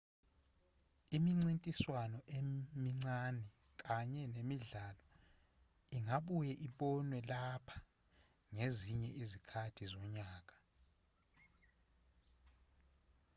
imincintiswano emincane kanye nemidlalo ingabuye ibonwe lapha ngezinye izikhathi zonyaka